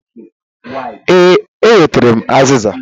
Ee, m wetara aziza.